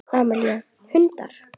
Amelía: Hundar.